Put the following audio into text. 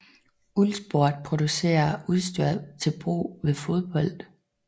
Uhlsport producerer udstyr til brug ved fodbold